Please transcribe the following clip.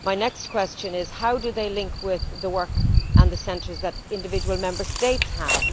My next question is this how do they link with the work and the centres that individual Member States have?